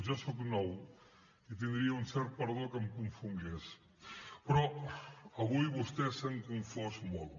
jo soc nou i tindria un cert perdó que em confongués però avui vostès s’han confós molt